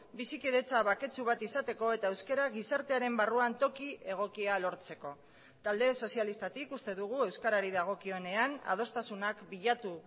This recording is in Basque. bizikidetza baketsu bat izateko eta euskara gizartearen barruan toki egokia lortzeko talde sozialistatik uste dugu euskarari dagokionean adostasunak bilatu